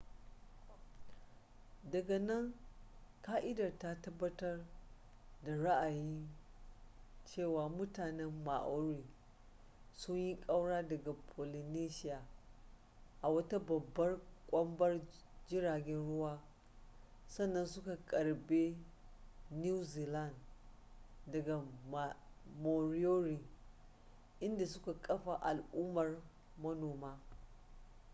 daga nan ƙa'idar ta tabbatar da ra'ayin cewa mutanen maori sun yi kaura daga polynesia a wata babbar kwambar jiragen ruwa sannan suka karbe new zealand daga moriori inda suka kafa al'ummar manoma